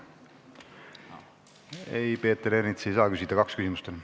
Ei, Peeter Ernits ei saa küsida, kaks küsimust on.